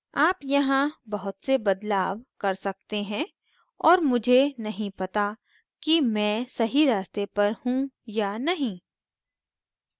आप यहाँ बहुत से बदलाव कर सकते हैं और मुझे नहीं पता कि मैं सही रास्ते पर you या नहीं